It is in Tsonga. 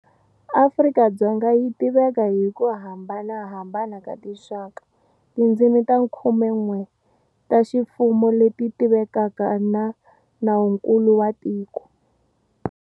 Afrika-Dzonga yi tiveka hi ku hambanahambana ka tinxaka, tindzimi ta khumen'we ta ximfumo leti tivekaka na Nawunkulu wa tiko.